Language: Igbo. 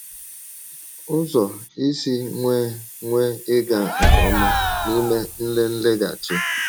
Ụzọ Ísì Nwèe Nwèe Ị́gà Nke Ọ́má n’Ímè Nlelègháchì